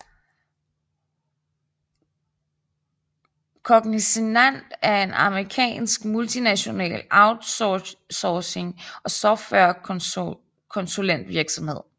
Cognizant er en amerikansk multinational outsourcing og software konsulentvirksomhed